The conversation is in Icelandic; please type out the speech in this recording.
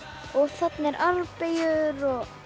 og þarna er armbeygjur